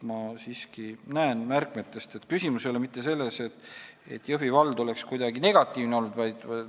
Ma siiski näen siit märkmetest, et küsimus ei ole mitte selles, et Jõhvi vald oleks kuidagi negatiivne olnud.